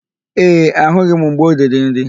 Ee, ahụghị m mgbe o riri nri.